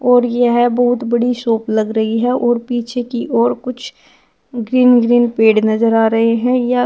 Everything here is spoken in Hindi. और यह बहुत बड़ी शॉप लग रही है और पीछे की ओर कुछ ग्रीन ग्रीन पेड़ नजर आ रहे हैं यह--